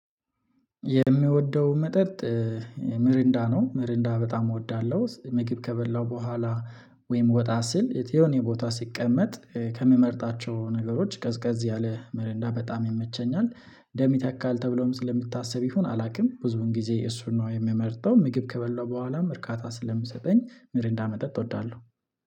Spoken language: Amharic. የምወደው መጠጥ ሚሪንዳ ነው ሚሪንዳ በጣም እወዳለሁ። ምግብ ከበላው በኋላ ወይም ወጣ ስል የሆነ ቦታ ስቀመጥ ከምመርጣቸው ነገሮች ቀዝቀዝ ያለ ሚረንዳ በጣም ይመቸኛል። ደም ይተካል ተብሎም ስለሚታስብ ይሁን አላውቅም ብዙን ጊዜ እሱን ነው የምመርጠው። ምግብ ከበላው በኋላ እርካታ ስለምሰጠኝ ሚሪንዳ መጠጥ እወዳለሁ